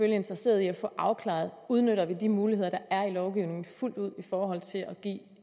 interesseret i at få afklaret om udnytter de muligheder der er i lovgivningen fuldt ud i forhold til at give